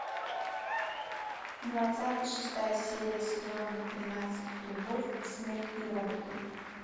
двадцатый шестая серия сезона тринадцать любовь смерть и роботы